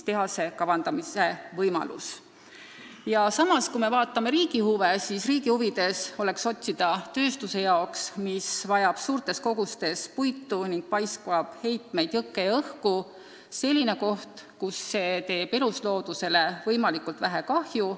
Samas, kui me vaatame riigi huve, siis riigi huvides oleks otsida selle tehase jaoks, mis vajab suurtes kogustes puitu ning paiskab heitmeid jõkke ja õhku, selline koht, kus see teeb elusloodusele võimalikult vähe kahju.